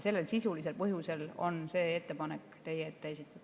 Sellel sisulisel põhjusel on see ettepanek teie ette esitatud.